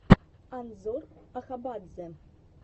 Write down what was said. анзор ахабадзе